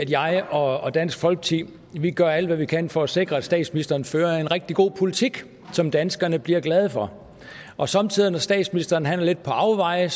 jeg og dansk folkeparti gør alt hvad vi kan for at sikre at statsministeren fører en rigtig god politik som danskerne bliver glade for og somme tider når statsministeren er lidt på afveje